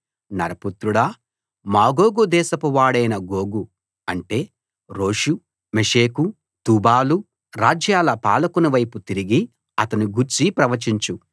నరపుత్రుడా మాగోగు దేశపువాడైన గోగు అంటే రోషు మెషెకు తుబాలు రాజ్యాల పాలకుని వైపు తిరిగి అతని గూర్చి ప్రవచించు